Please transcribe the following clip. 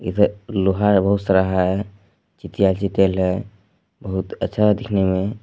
लोहा है बहुत सारा है। चीटियाइल चीटियाइल है। बहुत अच्छा है दिखने में।